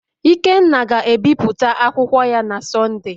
ikenna ga-ebipụta akwụkwọ ya na Sọnde